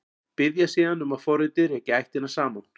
Biðja síðan um að forritið reki ættirnar saman.